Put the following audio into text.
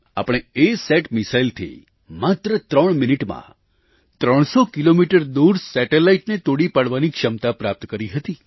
આપણે અસત મિસાઇલથી માત્ર ત્રણ મિનિટમાં ત્રણસો કિલોમીટર દૂર સેટેલાઇટને તોડી પાડવાની ક્ષમતા પ્રાપ્ત કરી હતી